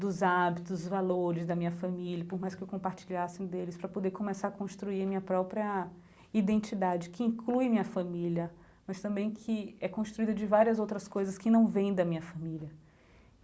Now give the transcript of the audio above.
dos hábitos, dos valores da minha família, por mais que eu compartilhasse deles, para poder começar a construir a minha própria identidade, que inclui a minha família, mas também que é construída de várias outras coisas que não vêm da minha família.